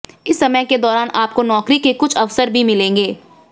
इस समय के दौरान आपको नौकरी के कुछ अवसर भी मिलेंगे